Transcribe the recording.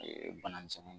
bana misɛnni